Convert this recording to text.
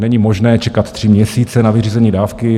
Není možné čekat tři měsíce na vyřízení dávky.